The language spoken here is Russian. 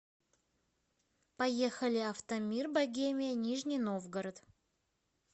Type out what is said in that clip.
поехали автомир богемия нижний новгород